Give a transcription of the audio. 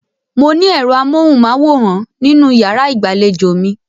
Mo ní ẹ̀ro amóhùmáwòhán nínú ìyàrá ìgbàlejò mi.